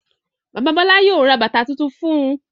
Bàbá Bọ́lá yóò ra bàtá tuntun fún un.